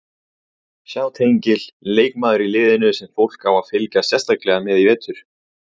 Sjá tengil Leikmaður í liðinu sem fólk á að fylgjast sérstaklega með í vetur?